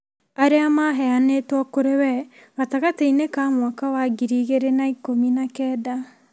arĩa maheanĩtwo kũrĩ we gatagatĩ-inĩ ka mwaka wa ngiri igĩrĩ na ikũmi na kenda.